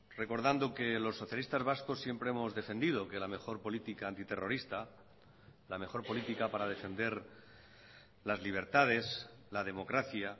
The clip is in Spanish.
recordando que los socialistas vascos siempre hemos defendido que la mejor política antiterrorista la mejor política para defender las libertades la democracia